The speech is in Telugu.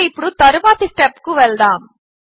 కనుక ఇప్పుడు తరువాతి స్టెప్ కు వెళదాము